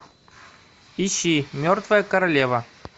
ищи мертвая королева